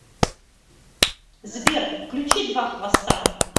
сбер включи два хвоста